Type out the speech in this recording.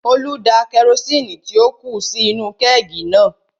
Olú da kerosini tí ó kù sí inú-u kẹ́ẹ̀gì náà